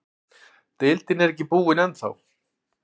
Deildin er ekki búinn ennþá.